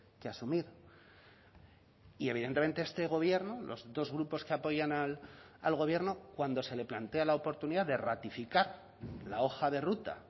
que asumir y evidentemente este gobierno los dos grupos que apoyan al gobierno cuando se le plantea la oportunidad de ratificar la hoja de ruta